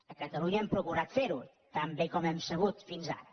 a catalunya hem procurat fer ho tan bé com hem sabut fins ara